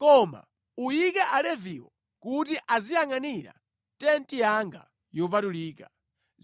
Koma uyike Aleviwo kuti aziyangʼanira tenti yanga yopatulika,